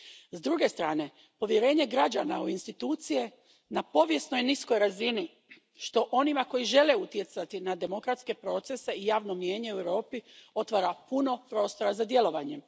S druge strane, povjerenje građana u institucije na povijesno je niskoj razini, što onima koji žele utjecati na demokratske procese i javno mnijenje u Europi, otvara puno prostora za djelovanje.